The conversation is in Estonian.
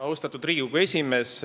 Austatud Riigikogu esimees!